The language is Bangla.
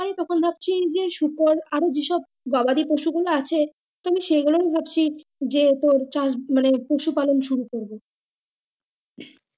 আমি এখন ভাবছি যে সুপার আর যে সব গবাদি পশু গুলো আছে আমি সেই গুলো ভাবছি যে তোর চাষ মানে পশু পালন শুরু করবো